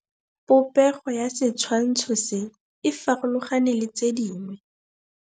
Popêgo ya setshwantshô se, e farologane le tse dingwe.